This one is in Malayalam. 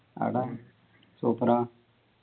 ആട super ആ